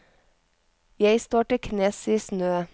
Jeg står til knes i snø.